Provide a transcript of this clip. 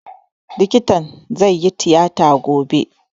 Likitan zai yi tiyata gobe